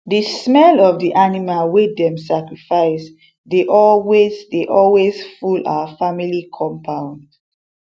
the smell of the animal wey dem sacrifice dey always dey always full our family compound